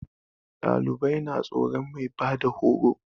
Ɗalibai na tsoron mai bada horo